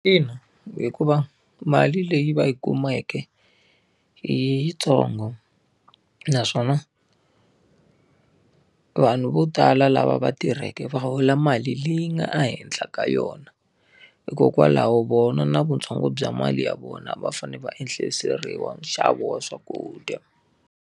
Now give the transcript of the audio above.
Ina, hikuva mali leyi va yi kumeke i yitsongo. Naswona, vanhu vo tala lava va tirheke va hola mali leyi nga ehenhla ka yona, hikokwalaho vona na vuntsongo bya mali ya vona va fanele va ehliseriwa nxavo wa swakudya.